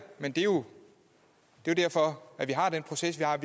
men det er jo derfor at vi har den proces vi har